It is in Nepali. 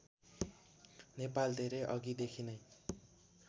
नेपाल धेरै अघिदेखि नै